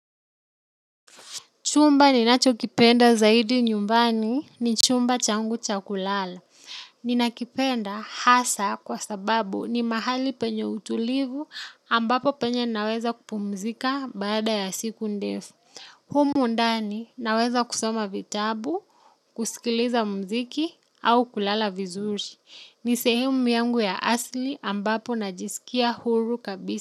Chumba ninachokipenda zaidi nyumbani ni chumba changu cha kulala. Ninakipenda hasa kwa sababu ni mahali penye utulivu ambapo penye naweza kupumzika baada ya siku ndefu. Humo ndani naweza kusoma vitabu, kusikiliza muziki au kulala vizuri. Ni sehemu yangu ya asili ambapo najisikia huru kabisa.